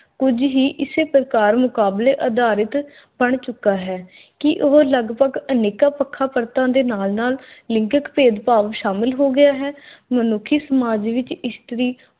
ਕੁਝ ਹੀ ਇਸੇ ਪ੍ਰਕਾਰ ਮੁਕਾਬਲੇ ਅਧਾਰਿਤ ਪਣ ਚੁਕਾ ਹੈ ਕੀ ਉਹ ਲਗਭਗ ਅਨੇਕਾਂ ਪੱਖਾਂ ਪਰਤਾਂ ਦੇ ਨਾਲ-ਨਾਲ ਭੇਦ-ਭਾਵ ਸ਼ਾਮਲ ਹੋ ਗਿਆ ਹੈ। ਮਨੁੱਖੀ ਸਮਾਜ ਵਿਚ ਇਸ਼ਤਰੀ